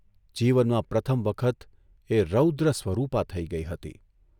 જીવનમાં પ્રથમ વખત એ રૌદ્ર સ્વરૂપા થઇ ગઇ હતી.